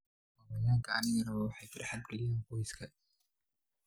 Xayawaanka rabbaaniga ah waxay farxad geliyaan qoyska.